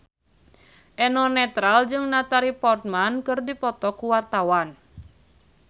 Eno Netral jeung Natalie Portman keur dipoto ku wartawan